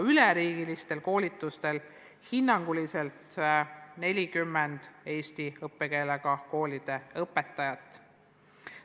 Üleriigilistel koolitustel on osalenud hinnanguliselt 40 eesti õppekeelega koolide õpetajat.